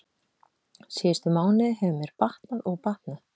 Síðustu mánuði hefur mér batnað og batnað.